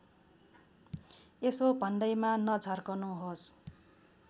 यसो भन्दैमा नझर्कनुहोस्